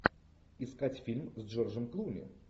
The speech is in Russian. искать фильм с джорджем клуни